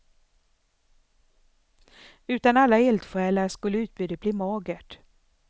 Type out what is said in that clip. Utan alla eldsjälar skulle utbudet bli magert.